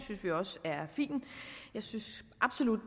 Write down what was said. er fin jeg synes absolut